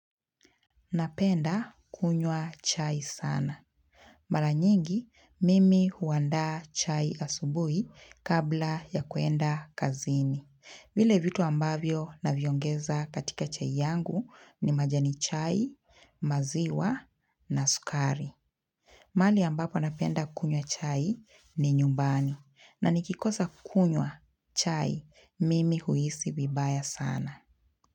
Napenda kunywa chai sana. Mara nyingi, mimi huandaa chai asubuhi kabla ya kwenda kazini. Vile vitu ambavyo naviongeza katika chai yangu ni majani chai, maziwa na sukari. Mahali ambapo napenda kunywa chai ni nyumbani. Na nikikosa kunywa chai, mimi huisi vibaya sana.